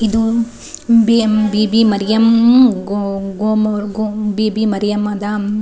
ಇದು ಬಿಯೆಮ್ ಬಿಬಿ ಮರಿಯಮ್ ಗೋ ಗೋ ಗೋ ಬೀಬಿ ಮರಿಯಮ್ಮದ.--